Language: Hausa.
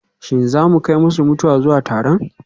Shin za mu kai masu mutuwa zuwa taron?